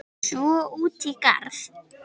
Svo út í garð.